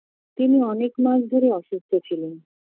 তিনি অনেক মাস ধরেই অসুস্থ ছিলেন